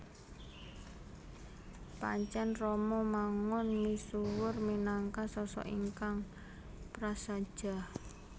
Pancèn Romo Mangun misuwur minangka sosok ingkang prasaja